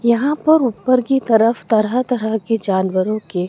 यहां पर ऊपर की तरफ तरह तरह के जानवरों के--